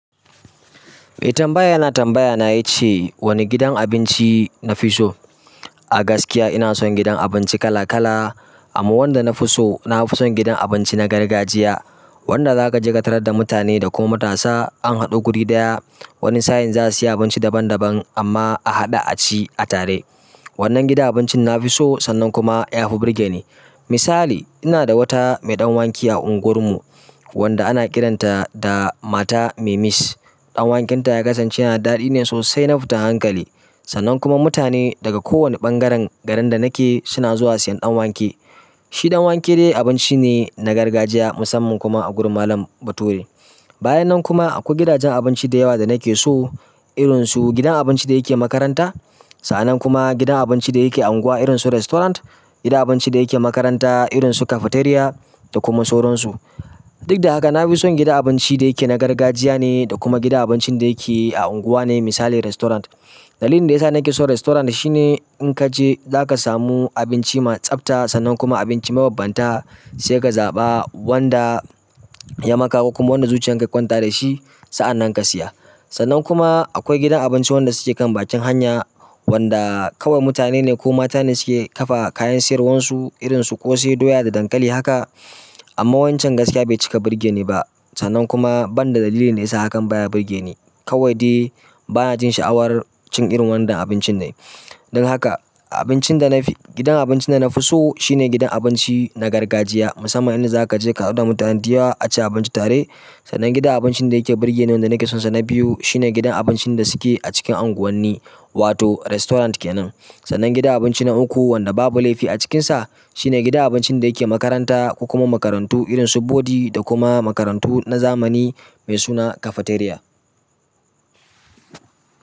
Eh tambaya yana tambaya ya ce wani gidan abinci na fi so? A gaskiya ina son gidan abinci kala kala amma wanda na fi so na fi son gidan abinci na gargajiya wanda za ka je ka tarar da mutane da kuma matasa an haɗu guri ɗaya wani sa'in za su siya abinci daban daban amma a haɗa a ci a tare. Wannan gidan abincin na fi so sannan kuma ya fi burge ni. Misali ina da wata mai ɗan wanki a unguwar mu wanda ana kiranta da mata Memish. Dan wakenta yanada daɗi ne sosai na fitan hankali sannan kuma mutane daga kowanne ɓangaren garin da nake suna zuwa siyan ɗan wake. Shi ɗan wanke ne abinci ne na gargajiya musamman kuma a gurin malam bature. Bayan nan kuma akwai gidajen abinci da yawa da nake so irin su gidan abinci da yake makaranta sa'annan kuma gidan abinci da yake unguwa irinsu restaurant gidan abinci da yake makaranta irinsu cafeteria da kuma sauransu. Duk da haka na fi son gidan abinci da yake na gargajiya ne da kuma gidan abincin da yake a unguwa ne misali restaurant. Dalilin da ya sa nake son restaurant shine in ka je za ka samu abinci mai tsabta sannan kuma abinci mababbanta sai ka zaɓa wanda ya makako kuma wanda zuciyan ka ya kwanta da shi sa'an nan ka siya. Sannan kuma akwai gidan abinci wanda suke kan bakin hanya wanda kawai mutane ne ko mata ne suke ƙafa kayan siyarwarsu irinsu ƙosai doya da dankali haka amma wancan gaskiya bai cika burge ni ba sannan kuma ban da dalilin da ya sa hakan baya burge ni. Kawai dai bana jin sha'awar cin irin waɗannan abincin ne. Don haka abincin da na fi gidan abincin da na fi so shine gidan abinci na gargajiya musamman in za ka je ka haɗu da mutane diyyaw a ci abinci tare sannan gidan abincin da yake burge ni wanda nake son sa na biyu shine gidan abincin da suke a cikin unguwanni wato restaurant kenan. Sannan gidan abinci na uku wanda babu laifi a cikinsa shine gidan abincin da yake makaranta kuma makarantu irin su bodi da kuma makarantu na zamani mai suna cafeteria.